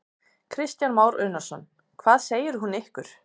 Kristján Már Unnarsson: Hvað segir hún ykkur?